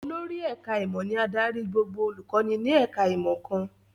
Olórí ẹ̀ká ìmọ̀ ni adarí gbogbo olùkọ́ni ní ẹ̀ká ìmọ̀ kan